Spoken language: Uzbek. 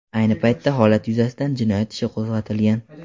Ayni paytda holat yuzasidan jinoyat ishi qo‘zg‘atilgan.